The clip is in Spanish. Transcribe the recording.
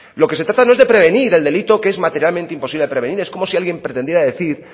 lo que se trata no es de prevenir el delito que es materialmente imposible de prevenir es como si alguien pretendiera decir